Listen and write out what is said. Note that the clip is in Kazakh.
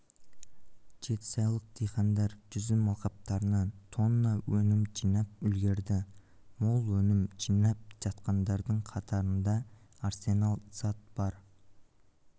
жетісайлық диқандар жүзім алқаптарынан тонна өнім жинап үлгерді мол өнім жинап жатқандардың қатарында арсенал-сад бар